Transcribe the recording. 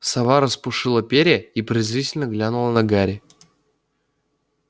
сова распушила перья и презрительно глянула на гарри